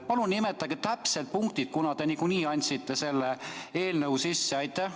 Palun nimetage täpsed punktid, kuna te nagunii andsite selle eelnõu sisse.